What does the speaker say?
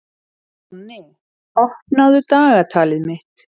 Jonni, opnaðu dagatalið mitt.